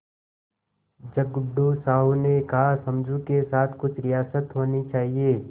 झगड़ू साहु ने कहासमझू के साथ कुछ रियायत होनी चाहिए